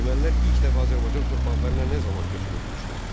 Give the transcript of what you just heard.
Ermənilər ilk dəfə Azərbaycan torpaqlarına nə zaman köçürülmüşdü?